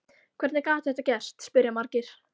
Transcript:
Hvernig gat þetta gerst? spyrja margir.